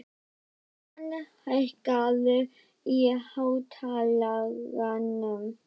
Bæron, hækkaðu í hátalaranum.